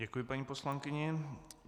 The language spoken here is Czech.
Děkuji paní poslankyni.